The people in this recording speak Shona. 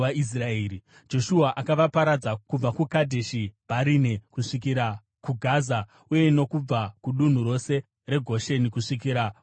Joshua akavaparadza kubva kuKadheshi Bharinea kusvikira kuGaza uye nokubva kudunhu rose reGosheni kusvikira kuGibheoni.